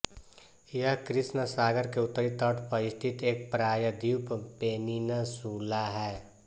यह कृष्ण सागर के उत्तरी तट पर स्थित एक प्रायद्वीप पेनिनसुला है